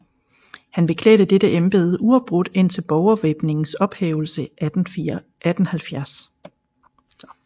Han beklædte dette embede uafbrudt indtil Borgervæbningens ophævelse 1870